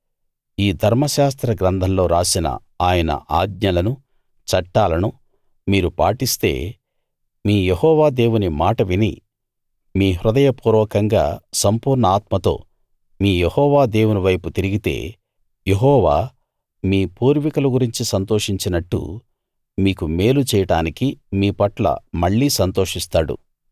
ఈ ధర్మశాస్త్ర గ్రంథంలో రాసిన ఆయన ఆజ్ఞలనూ చట్టాలనూ మీరు పాటిస్తే మీ యెహోవా దేవుని మాట విని మీ హృదయపూర్వకంగా సంపూర్ణ ఆత్మతో మీ యెహోవా దేవుని వైపు తిరిగితే యెహోవా మీ పూర్వీకుల గురించి సంతోషించినట్టు మీకు మేలు చేయడానికి మీపట్ల మళ్ళీ సంతోషిస్తాడు